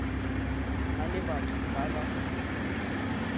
na le batho ba ba